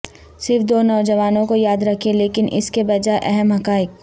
صرف دو نوجوانوں کو یاد رکھیں لیکن اس کے بجائے اہم حقائق